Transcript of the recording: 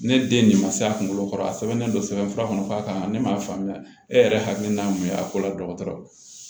Ne den nin ma se a kunkolo kɔrɔ a sɛbɛnnen don sɛbɛn fura kɔnɔ k'a kan ka ne m'a faamuya e yɛrɛ hakilina ye mun ye a ko la dɔgɔtɔrɔ